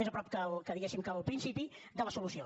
més a prop diguéssim que al principi de la solució